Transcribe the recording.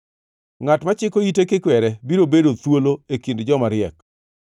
Ngʼat machiko ite kikwere biro bedo thuolo e kind joma riek.